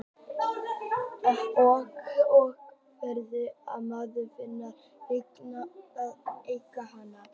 Birta: Og hvað gerist ef maður finnur byggingu, má maður þá eiga hana?